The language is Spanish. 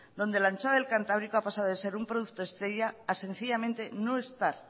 donde la anchoa del cantábrico ha pasado de ser un producto estrella a sencillamente no estar